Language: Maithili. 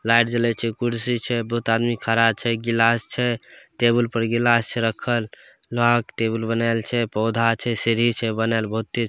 लाइट जलई छे कुर्सी छे बहुत आदमी खड़ा छे गिलास छे टेबल पर गिलास छे रखल। लोहा के टेबल बनल छे पौधा छे सीढ़ी छे बनल बहुते --